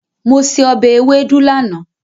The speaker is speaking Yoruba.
Mo se ọbẹ̀ ewédú lánàá.